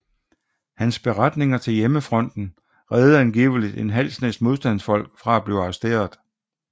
Hans beretninger til Hjemmefronten reddede angiveligt en halv snes modstandsfolk fra at blive arresteret